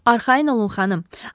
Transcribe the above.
Arxayın olun, xanım,